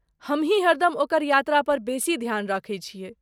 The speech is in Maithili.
हमहीं हरदम ओकर यात्रापर बेसी ध्यान रखै छियै।